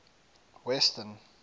western